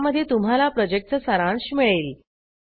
ज्यामध्ये तुम्हाला प्रॉजेक्टचा सारांश मिळेल